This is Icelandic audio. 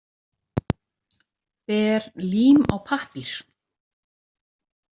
Ber lím á pappír.